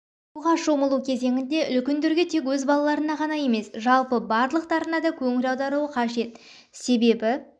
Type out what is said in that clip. суға шомылу кезенінде үлкендерге тек өз балаларына ғана емес жалпы барлықтарына да көңіл аударуы қажет себебі